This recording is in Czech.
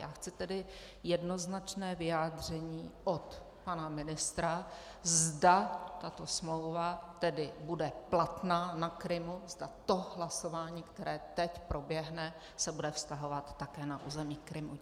Já chci tedy jednoznačné vyjádření od pana ministra, zda tato smlouva tedy bude platná na Krymu, zda to hlasování, které teď proběhne, se bude vztahovat také na území Krymu.